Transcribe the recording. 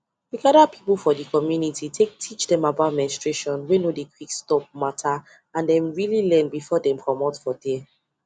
we gather people for the community take teach dem about menstruation wey no dey quick stop matterand them really learn before dem commot for there